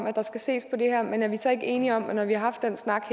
at der skal ses på det her men er vi så ikke enige om at når vi har haft den snak